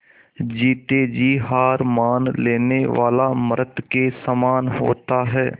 जीते जी हार मान लेने वाला मृत के ही समान होता है